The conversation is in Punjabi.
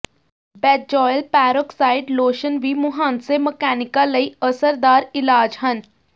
ਬੈਂਜੌਇਲ ਪੈਰੋਕਸਾਈਡ ਲੋਸ਼ਨ ਵੀ ਮੁਹਾਂਸੇ ਮਕੈਨਿਕੀਆਂ ਲਈ ਅਸਰਦਾਰ ਇਲਾਜ ਹਨ